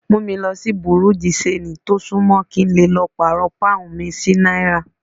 Mú mi lo sí Bùrú dì ṣanjì tó sún mọ́, kí n lè lọ pàrọ̀ Pọ́ǹhun mi sí náírà.